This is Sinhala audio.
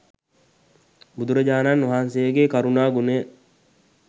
බුදුරජාණන් වහන්සේගෙ කරුණා ගුණය.